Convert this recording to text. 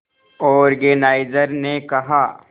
organiser ने कहा